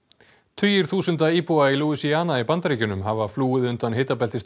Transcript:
tugir þúsunda íbúa í í Bandaríkjunum hafa flúið undan